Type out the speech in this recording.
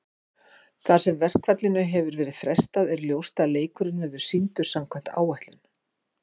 Þar sem verkfallinu hefur verið frestað er ljóst að leikurinn verður sýndur samkvæmt áætlun.